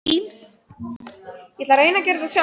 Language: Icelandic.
Þetta var Dundi, á því lék ekki nokkur vafi.